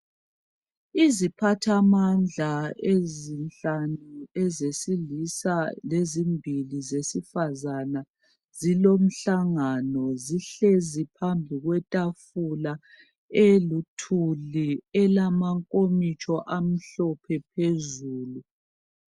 Iziphathamandla ezinhlanu ezesilisa lezimbili zesifazana zilomhlangano zihlezi phambi kwetafula eluthuli elamankomitsho amhlophe phezulu.